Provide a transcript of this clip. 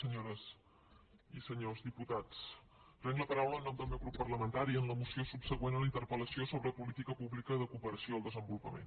senyores i senyors diputats prenc la paraula en nom del meu grup parlamentari en la moció subsegüent a la interpel·lació sobre política pública de cooperació al desenvolupament